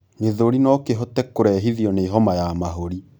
gĩthũri nokihote kurehithio ni homa ya mahũri